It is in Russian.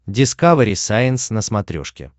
дискавери сайенс на смотрешке